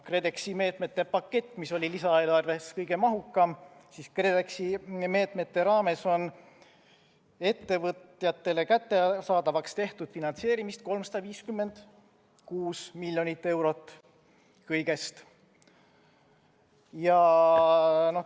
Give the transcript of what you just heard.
KredExi meetmete paketist, mis oli lisaeelarves kõige mahukam, on KredExi meetmete raames ettevõtjatele kättesaadavaks tehtud finantseerimist kõigest 356 miljonit eurot.